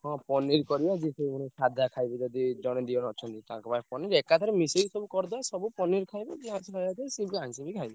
ହଁ ପନୀର କରିଆ ଯିଏ ସାଧା ଖାଇବ ଯଦି ଜଣେ ଦି ଜଣ ଅଛନ୍ତି ତାଙ୍କ ପାଇଁ ପନୀର ଏକାଥରେ ମିଶେଇ ସବୁ କରିଦବା ସବୁ ପନିର ଖାଇବ ଯିଏ ଖାଇବ ସିଏ ବି ଆଇଂଷ ବି ଖାଇବ।